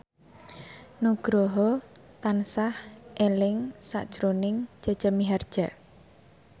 Nugroho tansah eling sakjroning Jaja Mihardja